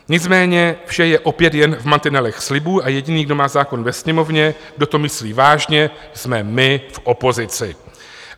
Nicméně vše je opět jen v mantinelech slibů a jediný, kdo má zákon ve Sněmovně, kdo to myslí vážně, jsme my v opozici.